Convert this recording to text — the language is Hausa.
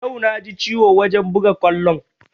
Yau na ji ciwo wajen buga kwallon